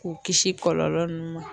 K'o kisi kɔlɔlɔ nunnu ma